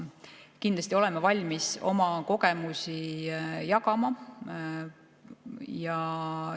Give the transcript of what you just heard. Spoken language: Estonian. Kindlasti oleme valmis oma kogemusi jagama.